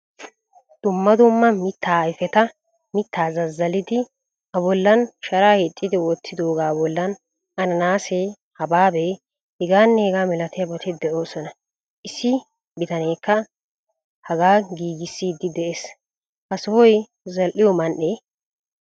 Dumma dumma mittaa ayfetta miitta zazzallidi a bollan sharaa hiixidi wottidooga bollan ananaase, hababee, h.h.milatiyabati de'oosona. Issi bitanekka hagaa giigisidi de'ees. Ha sohoy zal'iyo man'ee?